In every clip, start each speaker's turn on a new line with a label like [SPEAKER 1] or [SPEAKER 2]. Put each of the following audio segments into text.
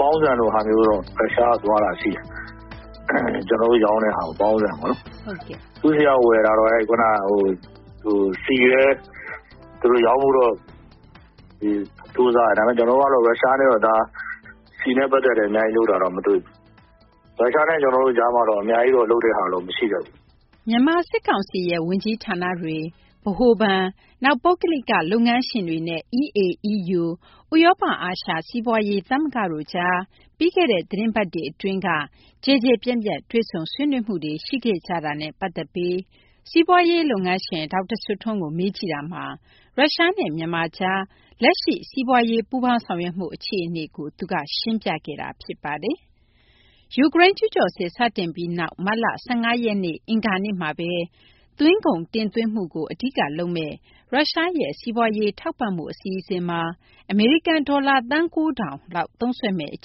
[SPEAKER 1] ပေါင်းဆန်လို ဟာမျိုးတော့ ရုရှားကို သွားတာ ရှိတယ်။ ကျနော်တို့ ရောင်းတာ ပေါင်းဆန်ပေါ့နော်။ သူ့ဆီက ဝယ်တာတော့ ဆီလည်းသူတို့ ရောင်းဖို့တော့ ကြိုးစားတယ်။ ဒါပေမယ့် ကျနော်တို့ ရုရှားနဲ့တော့ ဆီနဲ့ ပတ်သက်လို့ အများကြီး လုပ်တာတော့ မတွေ့ဘူး။ ရုရှားနဲ့ ကျနောတို့ ကြားမှာတော့ အများကြီး လုပ်တာတော့ မရှိတတ
[SPEAKER 2] ်ဘူး။ ” မြန်မာ စစ်ကောင်စီရဲ့ ဝန်ကြီးဌာနတွေ၊ ဗဟိုဘဏ်၊ နောက် ပုဂ္ဂလိက လုပ်ငန်းရှင်တွေနဲ့ EAEU ဥရောပ အာရှ စီးပွားရေး သမဂ္ဂတို့ကြား ပြီးခဲ့တဲ့ သီတင်းပတ်တွေ အတွင်းက ကျယ်ကျယ်ပြန့်ပြန့် တွေ့ဆုံ ဆွေးနွေးမှုတွေ ရှိခဲ့ကြတာနဲ့ ပတ်သက်ပြီး စီးပွားရေး လုပ်ငန်းရှင် ဒေါက်တာ စိုးထွန်းကို မေးကြည့်တာမှာ ရုရှားနဲ့ မြန်မာကြား လက်ရှိ စီးပွားရေး ပူးပေါင်းဆောင်ရွက်မှု အခြေအနေကို သူက ရှင်းပြခဲ့တာပါ။ ယူကရိန်း ကျူးကျော်စစ် စတင်ပြီးနောက် မတ်လ ၁၅ ရက် အင်္ဂါနေ့မှာဘဲ သွင်းကုန် တင်သွင်းမှုကို အဓိက လုပ်မယ့် ရုရှားရဲ့ စီးပွားရေး ထောက်ပံ့မှု အစီအစဉ်မှာ အမေရိကန် ဒေါ်လာ သန်း ၉၀၀၀ လောက် သုံးစွဲမယ့် အ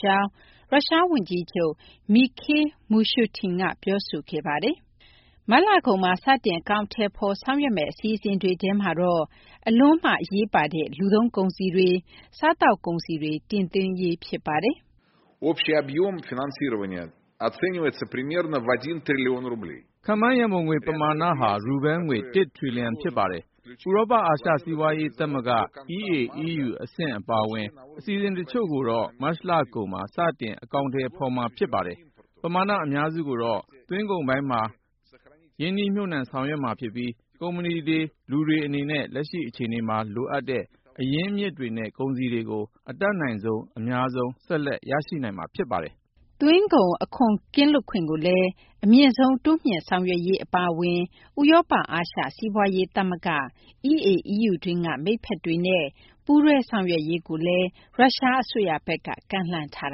[SPEAKER 2] ကြောင်း ရုရှား ဝန်ကြီးချုပ် Mikhail Mushustin က ပြောဆိုခဲ့ပါတယ်။ မတ်လကုန်မှာ စတင် အကောင်အထည်ဖော် ဆောင်ရွက်မယ့် အစီအစဉ်တွေထဲမှာတော့ အလွန် အရေးပါတဲ့ လူသုံးကုန်စည်တွေ၊ စားသောက်ကုန်စည်တွေ တင်သွင်းရေး ဖြစ်ပါတယ်။
[SPEAKER 3] ခန့်မှန်း ရန်ပုံငွေ ပမာဏဟာ ရူဘဲလ်ငွေ ၁ ထရီလီယံ ဖြစ်ပါတယ်။ ဥရောပအာရှ စီးပွားရေး သမဂ္ဂ EAEU အဆင့် အပါအဝင် အစီအစဉ် တချို့ကိုတော့ မတ်လကုန်မှာ စတင် အကောင်အထည်ဖော်မှာ ဖြစ်ပါတယ်။ ပမာဏ အများစုကိုတော့ သွင်းကုန် ပိုင်းမှာ မြှပ်နှံဆောင်ရွက်မှာ ဖြစ်ပြီး ကုမ္ပဏီတွေနဲ့ လူတွေ အနေနဲ့ လက်ရှိ အခြေအနေမှာ လိုအပ်တဲ့ အရင်းအမြစ်တွေနဲ့ ကုန်စည်တွေကို အတတ်နိုင်ဆုံး အများဆုံး ဆက်လက် ရရှိနိုင်မှာ ဖြစ်ပါတယ်
[SPEAKER 2] ။ သွင်းကုန် အခွန် ကင်းလွတ်ခွင့်ကိုလည်း အမြင့်ဆုံး တိုးမြှင့် ဆောင်ရွက်ရေး အပါအဝင် ဥရောပ အာရှ စီးပွားရေး သမဂ္ဂ EAEU တွင်းက မိတ်ဖက်တွေနဲ့ ပူးတွဲ ဆောင်ရွက်ရေးကိုလည်း ရုရှား အစိုးရဘက်က ကမ်းလှမ်းထား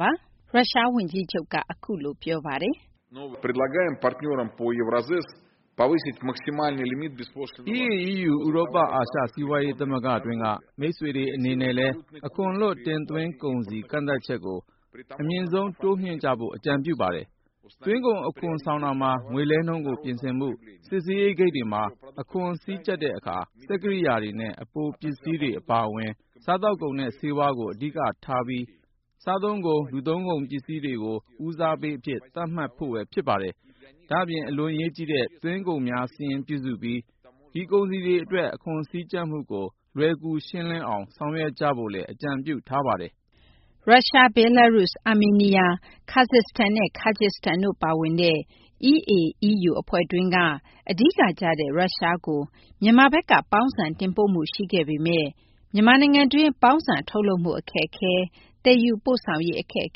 [SPEAKER 2] ပါတယ်။
[SPEAKER 3] EAEU – ဥရောပ အာရှ စီးပွားရေး သမဂ္ဂတွင်းက မိတ်ဖက်တွေ အနေနဲ့လည်း အခွန်လွတ် တင်သွင်း ကုန်စည် ကန့်သတ်ချက်ကို အမြင့်ဆုံး တိုးမြှင့်ကြဖို့ အကြံပြုပါတယ်။ သွင်းကုန် အခွန်ဆောင်တာမှာ ငွေလဲနှုန်းကို ပြင်ဆင်မှု၊ စစ်ဆေးရေး ဂိတ်တွေမှာ အခွန်စည်းကြပ်တာမှာ စက်ကိရိယာတွေနဲ့ အပိုပစ္စည်းတွေ အပါအဝင် စားသောက်ကုန်နဲ့ ဆေးဝါး အဓိကထားပြီး စားသုံးကုန်၊ လူသုံးကုန်စည်တွေကို ဦးစားပေးအဖြစ် သတ်မှတ်ဖို့၊ အလွန် အရေးကြီးတဲ့ သွင်းကုန်များစာရင်း ပြုစုပြီး ဒီကုန်စည်တွေ အတွက် အခွန်စည်းကြပ်မှုကို လွယ်ကူ ရှင်းလင်းအောင် ဆောင်ရွက်ကြဖို့လည်း အကြံပြုထားပါတယ်
[SPEAKER 2] ။ ရုရှား၊ ဘဲလားရုစ်၊ အာမေးနီးယား၊ ကာဇက်စတန်နဲ့ ကာဂျစ်စတန်တို့ ပါဝင်တဲ့ EAEU အဖွဲ့တွင်းက အဓိက ကျတဲ့ ရုရှားကို မြန်မာဘက်က ပေါင်းဆန် တင်ပို့မှု ရှိခဲ့ပေမယ့် မြန်မာနိုင်ငံတွင်း ပေါင်းဆန် ထုတ်လုပ်မှု အခက်အခဲ၊ သယ်ယူပို့ဆောင်ရေး အခက်အ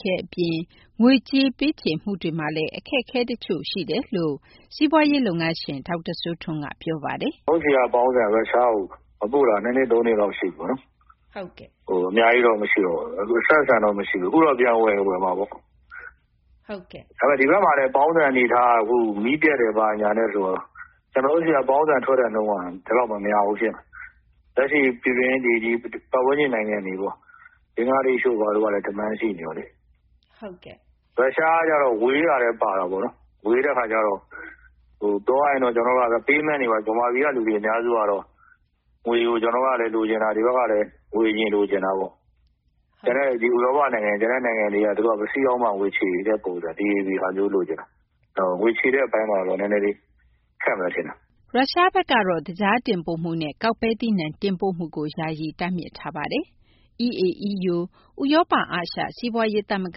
[SPEAKER 2] ခဲ အပြင် ငွေလွှဲပြောင်းမှုမှာလည်း အခက်အခဲ တချို့ ရှိကြောင်း စီးပွားရေး လုပ်ငန်းရှင် ဒေါက်တာ စိုးထွန်းက ပြောပါတယ်။
[SPEAKER 1] “ ဟိုးအရင်ကတော့ ပေါင်းဆန် ပို့တယ်။ အခု မပို့တာတော့ ၃ နှစ်- ၄ နှစ်လောက် ရှိပြီ။ အများကြီးတော့ မရှိတော့ဘူး။ အဆက်အဆံတော့ မရှိဘူး။ အခုတော့ ပြန်ဝယ်ချင် ဝယ်မှာပေါ့။ ဒါပေမယ့် ဒီဘက်မှာလည်း ပေါင်းဆန်ကလည်း မီးပြတ်တယ် ဘာညာဆိုတော့ ကျနော်တို့ ဆီက ပေါင်းဆန် ထွက်တဲ့ နှုန်းက ဒီလောက် မများဘူး ဖြစ်နေတာ။ လက်ရှိ ဒီ ပတ်ဝန်းကျင် နိုင်ငံတွေပေါ့ ဘင်္ဂလားဒေရှ့်တို့ ဘာတို့ကလည်း demand ရှိနေတော့လေ
[SPEAKER 2] ။ ရု
[SPEAKER 1] ရှားကတော့ ဝေးတာလည်း ပါတာပေါ့နော်။ ဝေးတဲ့ အခါကျတော့ ပြောရရင် Payment မှာ ဗမာပြည်က လူတွေ အများစုကတော့ ငွေကို ကျနော်တို့ကလည်း ဒီဘက်က လူတွေကလည်း ငွေကို အရင် လိုချင်တာပေါ့။ ကျန်တဲ့ ဒီဥရောပ နိုင်ငံတွေက သူတို့က ပစ္စည်းရောက်မှ ငွေချေတဲ့ ပုံစံ ဒီဟာမျိုး လိုချင်တာ။ ငွေချေတဲ့ အပိုင်းမှာတော့ နည်းနည်းလေး ခက်မယ်ထင်တာ။
[SPEAKER 2] ” ရုရှားဘက်ကတော့ သကြား တင်ပို့မှုနဲ့ ကောက်ပဲသီးနှံ တင်ပို့မှုကို ယာယီ တားမြစ်ထားပါတယ်။ EAEU - ဥရောပ အာရှ စီးပွားရေး သမဂ္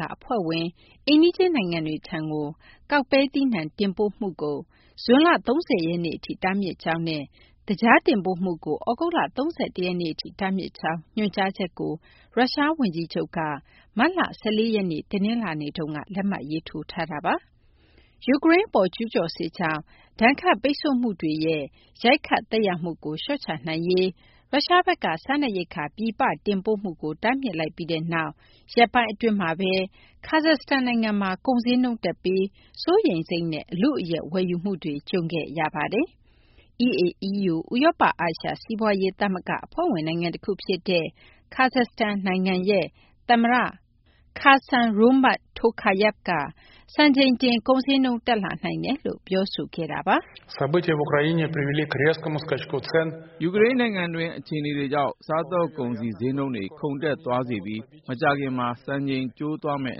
[SPEAKER 2] ဂ အဖွဲ့ဝင် အိမ်နီးချင်း နိုင်ငံတွေထံကို ကောက်ပဲသီးနှံ တင်ပို့မှုကို ဇွန်လ ၃၀ ရက်နေ့ထိ တားမြစ်ကြောင်းနဲ့ သကြား တင်ပို့မှုကို သြဂုတ်လ ၃၁ ရက်နေ့ထိ တားမြစ်ကြောင်း ညွှန်ကြားချက်ကို ရုရှား ဝန်ကြီးချုပ် Mikhail Mushustin က မတ်လ ၁၄ ရက်နေ့ တနလာင်္နေ့မှာ လက်မှတ်ရေးထိုးခဲ့တာပါ။ ယူကရိန်း အပေါ် ကျူးကျော်စစ်ကြောင့် ဒဏ်ခတ်ပိတ်ဆို့မှုဒဏ်တွေရဲ့ ရိုက်ခတ် သက်ရောက်မှုကို လျှော့ချနိုင်ရေး ရုရှားဘက်က စားနပ်ရိက္ခာ ပြည်ပ တင်ပို့မှုကို တားမြစ်လိုက်ပြီးနောက် ရက်ပိုင်းအတွင်းမှာဘဲ ကာဇက်စတန် နိုင်ငံမှာ ကုန်ဈေးနှုန်းတက်ပြီး စိုးရိမ်စိတ်နဲ့ အလုအယက် ဝယ်ယူမှုတွေနဲ့ ကြုံတွေ့ခဲ့ရပါတယ်။ EAEU ဥရောပအာရှ စီးပွားရေး သမဂ္ဂ အဖွဲ့ဝင် နိုင်ငံတခု ဖြစ်တဲ့ ကာဇက်စတန် နိုင်ငံမှာတော့ သမ္မတ Kassym-Jomart Tokayev က စံချိန်တင် ကုန်ဈေးနှုန်း တက်လာနိုင်ကြောင်း ပြောဆိုခဲ့ပါတ
[SPEAKER 3] ယ်။ ယူကရိန်းနိုင်ငံတွင်း အခြေအနေတွေကြောင့် စားသောက်ကုန်စည် ဈေးနှုန်းတွေ ခုန်တက်သွားစေပြီး မကြာခင်မှာ စံချိန်ကျိုးသွားမယ့်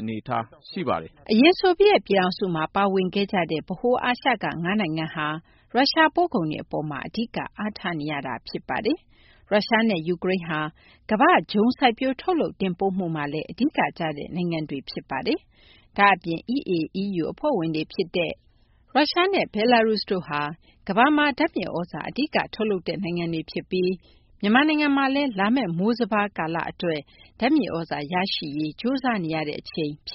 [SPEAKER 3] အနေအထား ရှိပါတယ်
[SPEAKER 2] ။ အရင် ဆိုဗီယက် ပြည်ထောင်စုမှာ ပါဝင်ခဲ့ကြတဲ့ ဗဟိုအာရှက ၅ နိုင်ငံဟာ ရုရှား ပို့ကုန်တွေ အပေါ်မှာ အဓိက အားထားနေရတာ ဖြစ်ပါတယ်။ ရုရှားနဲ့ ယူကရိန်းဟာ ကမ္ဘာ့ ဂျုံ စိုက်ပျိုး ထုတ်လုပ်တင်ပို့မှုမှာလည်း အဓိက ကျတဲ့ နိုင်ငံတွေ ဖြစ်နေပါတယ်။ ဒါ့အပြင် EAEU အဖွဲ့ဝင်တွေ ဖြစ်တဲ့ ရုရှားနဲ့ ဘယ်လာရုစ်တို့က ကမ္ဘာမှာ ဓာတ်မြေ သြဇာ အဓိက ထုတ်လုပ်တဲ့ နိုင်ငံတွေ ဖြစ်ပြီး မြန်မာနိုင်ငံမှာလည်း လာမယ့် မိုးစပါး အတွက် ဓာတ်မြေသြဇာ ရရှိရေး ကြိုးစားနေရတဲ့ အချိန် ဖြစ်